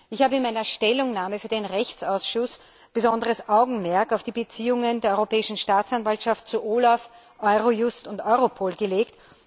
Ich habe in meiner Stellungnahme für den Rechtsausschuss besonderes Augenmerk auf die Beziehungen der Europäischen Staatsanwaltschaft zu OLAF, Eurojust und Europol gelegt.